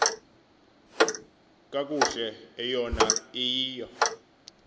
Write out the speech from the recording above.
kakuhle eyona iyiyo